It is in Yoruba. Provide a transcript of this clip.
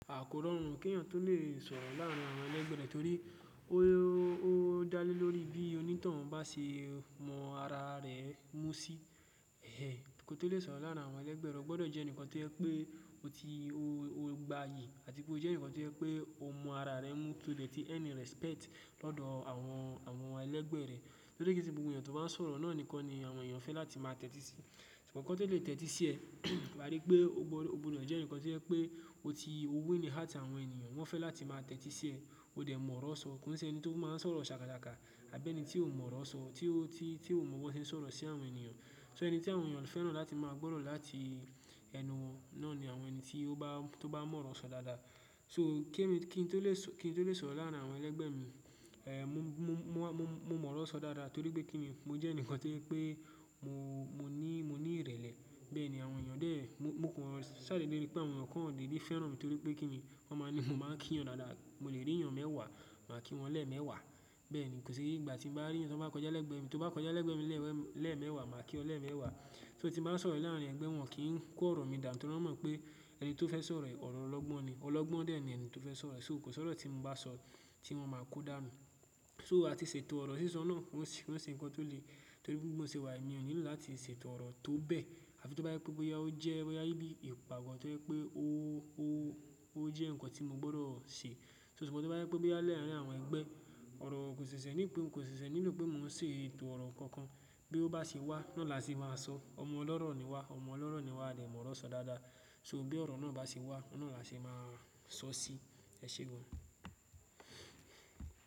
À kó rọ̀run kẹ̀yàn tó lè sọ̀rọ̀ láàárín àwọn ẹlẹgbẹ rẹ torí ó dá lé lórí bí onítoun bá ṣe mọ ara rẹ mú sí. Ẹ̀hẹ́n kí o tó lè sọ̀rọ̀ láàárín àwọn ẹlẹgbẹ rẹ o gbọdọ̀ jẹ́ ẹnìkan tó yẹ pé o ti o gbayì àti pé o jẹ́ ẹnìkan tó yẹ pé o mọ ara rẹ mú tó lè tí earn respect lọ́dọ̀ àwọn, àwọn ẹlẹgbẹ rẹ. Torí kese gbogbo ènìyàn tó bá ń sọ̀rọ̀ náà nìkan ni àwọn ènìyàn fẹ́ran láti máa tẹ́tí sí. Ṣùgbọ́n kan to lè tẹ́tí sí ẹ̀, wa rí pé o gbọdọ̀ jẹ́ ẹnìkan tí o jẹ pé o ti o win heart àwọn ènìyàn wọ́n fẹ́ láti máa tẹ́tí sí ẹ̀, o dẹ̀ mọ̀ ọ̀rọ̀ sọ. Kòn se ẹni tí ó máa ń sọ̀rọ̀ ṣàkasàká àbí ẹni tí ò mọ̀ ọ̀rọ̀ sọ, tí ó, tí ó mọ bó ṣe ń sọ̀rọ̀ sí àwọn ènìyàn. So ẹni tí àwọn ènìyàn fẹ́ràn láti máa gbọ́rọ̀ láti ẹnu wọn náà ni àwọn ẹni tí ó bá, tó bá mọ̀ ọ̀rọ̀ sọ dáadáa. So kí èmi, kí n tó lè so, kí n tó lè sọ̀rọ̀ láàárín àwọn ẹlẹgbẹ́ mi, eh, mo mọ̀ ọ̀rọ̀ sọ dáadáa torí pé kíni mo jẹ́ ẹnìkan to je pé mo ní, mo ní ìrẹ̀lẹ̀. Bẹ́ẹ̀ ni àwọn ènìyàn dè, mo kàn n ṣàdeedẹ́ ripé àwọn ènìyàn kan deedè fẹ́ran mi torí pé kíni, wọ́n maa ní mo máa ń kí'yan dáadáa. Mo lè rí'yàn mẹ́wàá, màá kí wọn lẹ́ẹ̀mẹ́wàá. Bẹ́ẹ̀ ni kò sí ígbà tí n bá rí'yan tan bá kọjá lẹ́gbẹ́ mi, tó bá kọjá lẹ́gbẹ́ mi lẹ́ẹ̀mẹ́wàá, màá kí ọ lẹ́ẹ̀mẹ́wàá. So tí bá sọ̀rọ̀ láàárín ẹgbẹ́ wọn kì n kó ọ̀rọ̀ mi dànu torí wọ́n mọ̀ pé ẹni tó fẹ́ sọ̀rọ̀ è ọ̀rọ̀ ọlọ́gbọ́n ni. Ọlọ́gbọ́n dè ni eni tí ó fẹ́ sọ̀rọ̀. So kò sí ọ̀rọ̀ tí mo bá so ti won máa kó dànù. So àti ṣètò ọ̀rọ̀ sísọ náà ó ṣe nǹkan tó lè torí pé mo ṣe wà ènìyàn onílùú láti ṣètò ọ̀rọ̀ tó bẹ́. Àfi tó bá yẹ pé bóyá ó jẹ́, bóyá bí ìpàgọ́ tó pé ó jẹ́ nǹkan tí mo gbọdọ̀ ṣe. So ṣùgbọ́n tó bá yẹ pé bóyá laarín àwọn ẹgbẹ́, ọ̀rọ̀ kò ṣẹ̀ṣẹ̀ ní ìpè, kò ṣẹ̀ṣẹ̀ nílò pé mò ń ṣe ètò ọ̀rọ̀ kankan. Bí ó bá ṣe wá, náà la ṣe máa sọ. Ọmọ ọlọ́rọ̀ ni wá, ọmọ ọlọ́rọ̀ ni wá lè mọ̀ ọ̀rọ̀ sọ dáadáa. So bí ọ̀rọ̀ náà bá ṣe wá, náà la ṣe máa sọ sí. Ẹ ṣé gan.